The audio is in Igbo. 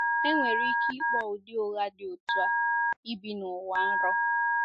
Enwere ike ịkpọ ụdị ụgha dị otú a ibi nụwa nrọ.